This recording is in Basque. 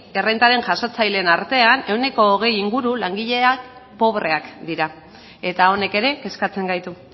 errentaren jasotzaileen artean veinte por ciento inguru langilea pobreak dira eta honek ere kezkatzen gaitu